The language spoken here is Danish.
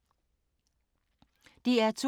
DR2